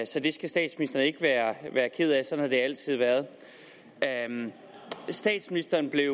så det skal statsministeren ikke være ked af sådan har det altid været statsministeren blev